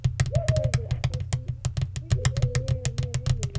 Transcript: ÞORVALDUR: Ekki villi ég á mér heimildir.